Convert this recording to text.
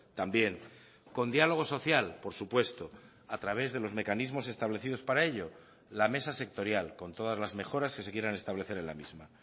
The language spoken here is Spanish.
también con diálogo social por supuesto a través de los mecanismos establecidos para ello la mesa sectorial con todas las mejoras que se quieran establecer en la misma